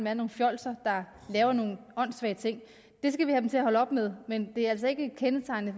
er nogle fjolser der laver nogle åndssvage ting det skal vi have dem til at holde op med men det er altså ikke kendetegnende